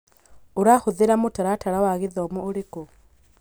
ũrahũthĩra mũtaratara wa gĩthomo ũrĩkũ